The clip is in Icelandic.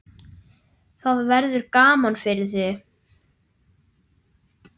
Það verður gaman fyrir þig.